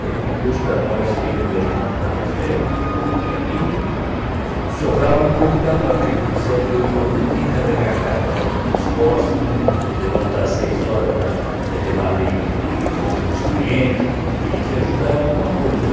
E aí depois para nós, eu e meu irmão, que era mais velho do que a mim, so sobrava um pouco para nós, porque com sete, oito anos ele tinha que carregar carvão nas costas né, levantar seis horas para eh levar leite e pão nos clientes, tinha que ajudar alguma coisa.